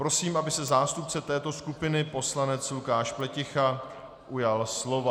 Prosím, aby se zástupce této skupiny poslanec Lukáš Pleticha ujal slova.